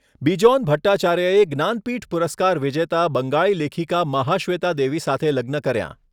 બિજોન ભટ્ટાચાર્યએ જ્ઞાનપીઠ પુરસ્કાર વિજેતા બંગાળી લેખિકા મહાશ્વેતા દેવી સાથે લગ્ન કર્યા.